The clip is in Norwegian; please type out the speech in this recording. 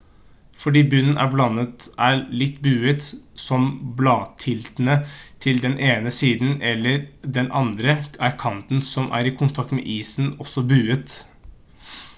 fordi bunnen av bladet er litt buet som bladtiltene til den ene siden eller den andre er kanten som er i kontakt med isen også buet